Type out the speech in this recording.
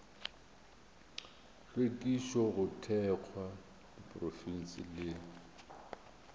hlwekišo go thekga diprofense le